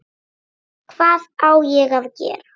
Hvað á ég að gera?